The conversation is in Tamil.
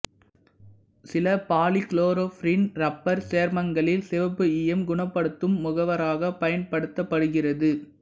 சில பாலிகுளோரோபிரீன் இரப்பர் சேர்மங்களில் சிவப்பு ஈயம் குணப்படுத்தும் முகவராகப் பயன்படுத்தப்படுகிறது